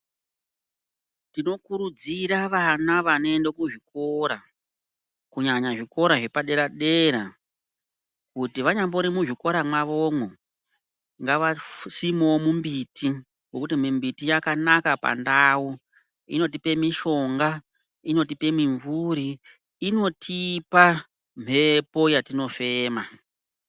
Tino kurudzira vana vanoenda ku zvikora kunyanya zvikora zvepa dera dera kuti vanyambori mu zvikora mwavomwo ngava simewo mi mbiti nekuti mi mbiti yakanaka pa ndau inotipe mishonga inotipe mi mvuri inotipa mhepo yatino fema.